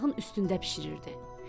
Ocağın üstündə bişirirdi.